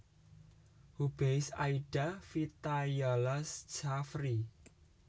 Hubeis Aida Vitayala Sjafri